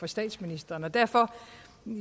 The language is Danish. statsministeren derfor